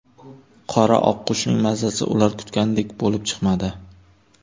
Qora oqqushning mazasi ular kutgandek bo‘lib chiqmadi.